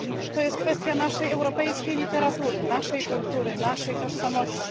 To jest kwestia naszej europejskiej literatury, naszej kultury, naszej tożsamości.